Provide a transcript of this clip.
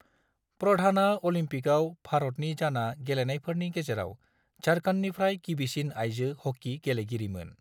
प्रधानआ अलिम्पिकआव भारतनि जाना गेलेनायफोरनि गेजेराव झारखंडनिफ्राय गिबिसिन आइजो हकी गेलेगिरिमोन।